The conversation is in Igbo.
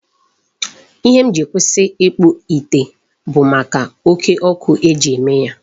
Ihe m ji si kwụsị ịkpụ ite bụ maka oke ọkụ eji eme ya.